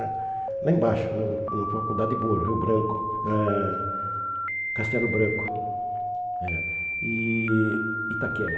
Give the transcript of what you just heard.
Lá embaixo, na na Faculdade Boa, Rio Branco, eh Castelo Branco eh e Itaquera.